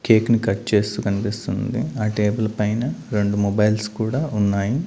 Cake ని cut చేస్తూ కన్పిస్తుంది ఆ టేబుల్ పైన రెండు మొబైల్స్ కూడా ఉన్నాయి.